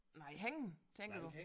Nej hængende tænker du